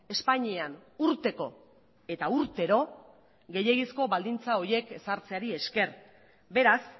espainian urteko eta urtero gehiegizko baldintza horiek ezartzeari esker beraz